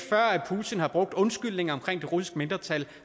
at putin har brugt undskyldninger omkring russiske mindretal